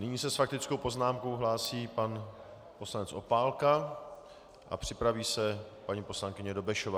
Nyní se s faktickou poznámkou hlásí pan poslanec Opálka a připraví se paní poslankyně Dobešová.